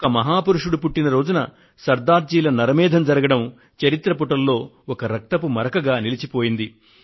ఒక మహాపురుషుడు పుట్టిన రోజున సర్దార్ జీల నరమేధం జరగడం చరిత్ర పుటల్లో ఒక రక్తపు మరకగా నిలిచిపోయింది